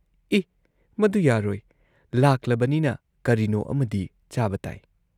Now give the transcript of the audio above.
"ꯑꯦ: ꯃꯗꯨ ꯌꯥꯔꯣꯏ ꯂꯥꯛꯂꯕꯅꯤꯅ, ꯀꯔꯤꯅꯣ ꯑꯃꯗꯤ ꯆꯥꯕ ꯇꯥꯏ ꯫"